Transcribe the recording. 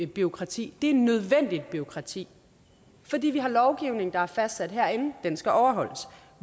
bureaukrati det er nødvendigt bureaukrati fordi vi har en lovgivning der er fastsat herinde og den skal overholdes